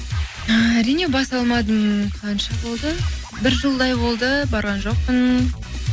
ііі әрине баса алмадым қанша болды бір жылдай болды барған жоқпын